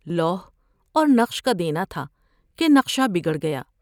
لوح اور نقش کا دینا تھا کہ نقشہ بگڑ گیا ۔